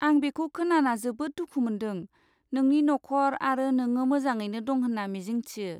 आं बेखौ खोनाना जोबोद दुखु मोनदों, नोंनि न'खर आरो नोङो मोजाङैनो दं होनना मिजिंथियो।